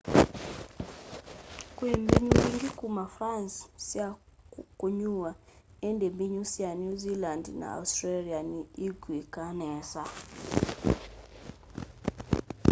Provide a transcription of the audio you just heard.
kwi mbinyu mbingi kuma france sya kunyuwa indi mbinyu sya new zealand na australia ni ikuikaa nesa